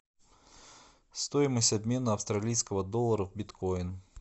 стоимость обмена австралийского доллара в биткоин